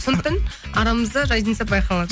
сондықтан арамызда разница байқалады